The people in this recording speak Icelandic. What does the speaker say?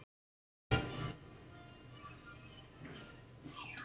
Reynsla hans segir til sín.